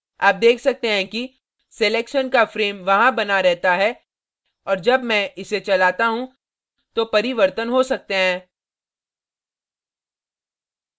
आप देख सकते हैं कि selection का frame वहां बना रहता है और जब मैं इसे चलाता you तो परिवर्तन हो सकते हैं